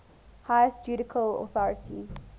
highest judicial authority